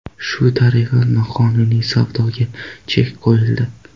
Shu tariqa noqonuniy savdoga chek qo‘yildi.